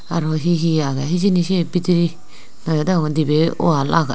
arow hi hi agey hijeni siye bidirey nayo degong dibey wall agey.